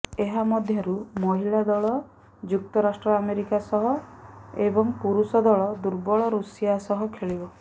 ଏହା ମଧ୍ୟରୁ ମହିଳା ଦଳ ଯୁକ୍ତରାଷ୍ଟ୍ର ଆମେରିକା ସହ ଏବଂ ପୁରୁଷ ଦଳ ଦୁର୍ବଳ ରୁଷିଆ ସହ ଖେଳିବ